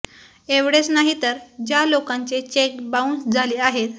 एवढेच नाही तर ज्या लोकांचे चेक बाउंस झाले आहेत